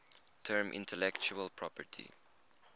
term intellectual property